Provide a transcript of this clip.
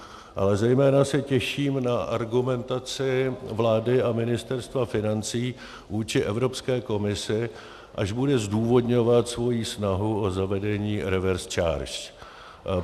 Ale zejména se těším na argumentaci vlády a Ministerstva financí vůči Evropské komisi, až bude zdůvodňovat svoji snahu o zavedení reverse charge.